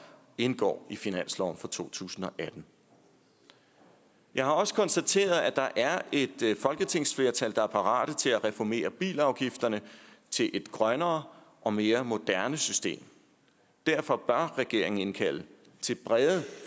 indgår i finansloven for to tusind og atten jeg har også konstateret at der er et folketingsflertal der er parate til at reformere bilafgifterne til et grønnere og mere moderne system derfor bør regeringen indkalde til brede